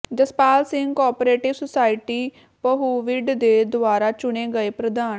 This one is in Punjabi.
ਜਸਪਾਲ ਸਿੰਘ ਕੋਆਪ੍ਰੇਟਿਵ ਸੁਸਾਇਟੀ ਪਹੂਵਿੰਡ ਦੇ ਦੁਬਾਰਾ ਚੁਣੇ ਗਏ ਪ੍ਰਧਾਨ